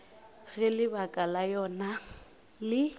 ge lebaka la yona le